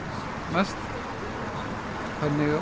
mest